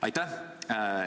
Aitäh!